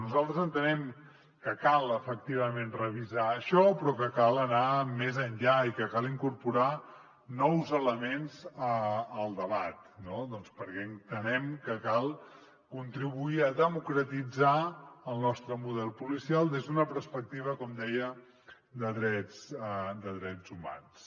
nosaltres entenem que cal efectivament revisar això però que cal anar més enllà i que cal incorporar nous elements al debat doncs perquè entenem que cal contribuir a democratitzar el nostre model policial des d’una perspectiva com deia de drets humans